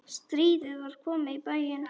Stríðið var komið í bæinn!